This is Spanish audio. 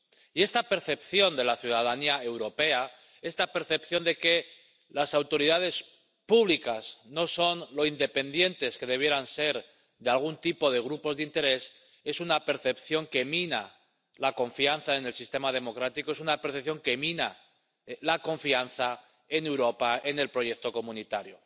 Y esta percepción de la ciudadanía europea, esta percepción de que las autoridades públicas no son lo independientes que debieran ser de algún tipo de grupos de interés, es una percepción que mina la confianza en el sistema democrático, es una apreciación que mina la confianza en Europa, en el proyecto comunitario.